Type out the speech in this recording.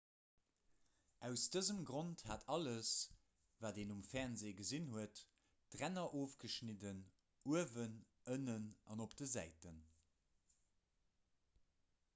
aus dësem grond hat alles wat een um fernsee gesinn huet d'ränner ofgeschnidden uewen ënnen an op de säiten